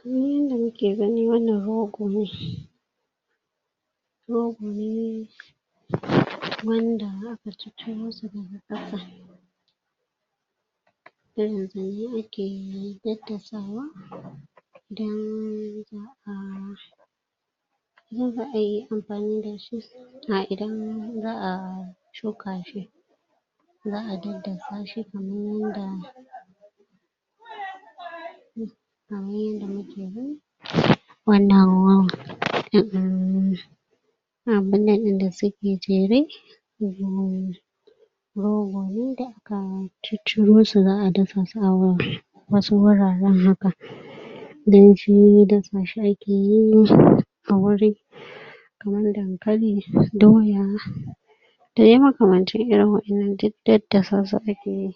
Kaman yin da mu ke ganin wannan rogo ne rogo ne wanda a ka ciciro su da ga kasa a ke dadasawa idan zaa da zaa yi amfani da shi a idan zaa shuka shi zaa dadasa shi kamar wanda kamar yanda mu ke wannan ruwan abunan din da suke jere rogo ne da a ka ciciro su, zaa dafa su a ruwan. Wasu wuraren haka dan shi dasa shi a ke yi a wurin kamar dankali, doya da ya makamanci irin waƴannan duk dadasa su a ke yi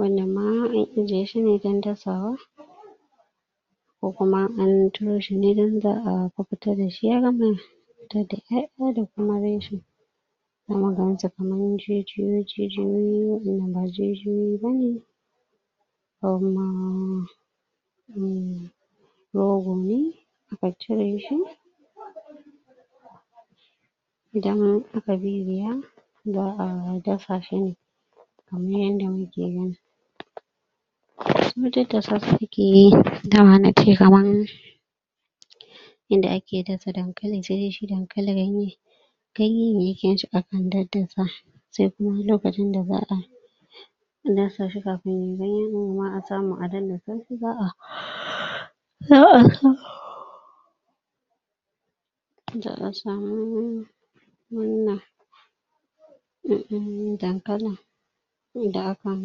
wannan ma an ije shi ne dan dasawa ko kuma an turo ne ran da a ka fita da shi ya gama fito da ƴaƴa da kuma kuma ga cepanan jijiyoyi jijiyoyi, wanda ba jijiyoyi ba ne um rogo ne aka cire shi daman a ka bibiya zaa dafa shi ne kamar yanda mu ke gani su dadasa su ke yi, da ma na kai kamar in da a ke dasa dankali sai shi dankali ya mai kai mai kyau shi a kan dadasa, sai kuma lokacin da baa a dasa shi kafin dai yin noma a samu a dadasa shi, zaa zaa sa zaa samu wannan um dankalin da a kan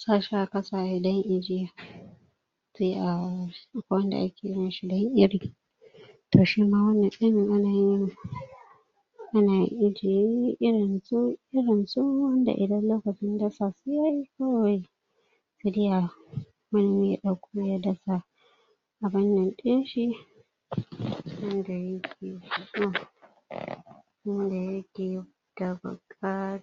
sa shi a kassa ya dan yi ijya sai a, akwai wanda a ke yin shi da yin iri toh shi ma wannan irin a na yin a na ijiye irin su irin su wanda idan lokacin dasa su yayi kawai se dai a, wanni ya dauko ya dasa kaman yanƙin shi yanda ya ke so un da ya ke da buka